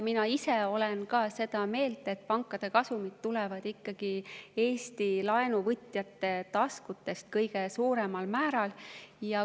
Mina ise olen ka seda meelt, et pankade kasumid tulevad kõige suuremal määral ikkagi Eesti laenuvõtjate taskutest.